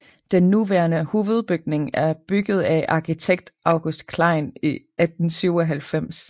Den nuværende hovedbygning er bygget af arkitekt August Klein i 1897